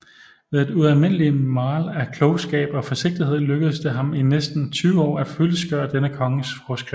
Ved et ualmindeligt Maal af Klogskab og Forsigtighed lykkedes det ham i næsten 20 Aar at fyldestgøre denne Kongens Forskrift